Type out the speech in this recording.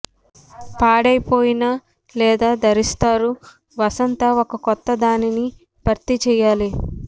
పాడైపోయిన లేదా ధరిస్తారు వసంత ఒక కొత్త దానిని భర్తీ చేయాలి